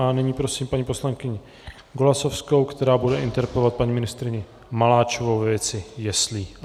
A nyní prosím paní poslankyni Golasowskou, která bude interpelovat paní ministryni Maláčovou ve věci jeslí.